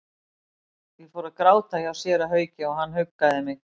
Ég fór að gráta hjá séra Hauki og hann huggaði mig.